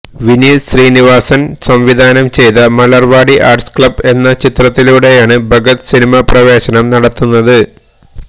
വിനീത് ശ്രീനിവാസന് സംവിധാനം ചെയ്ത Malarvadi arts club എന്ന ചിത്രത്തിലൂടെയാണ് ഭഗത് സിനിമാപ്രവേശനം നടത്തുന്നത്